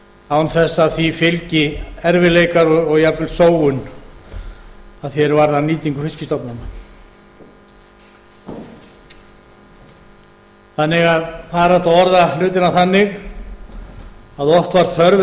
án þess að því fylgi erfiðleikar og jafnvel sóun að því er varðar nýtingu fiskstofnanna það er hægt að orða hlutina þannig að oft var þörf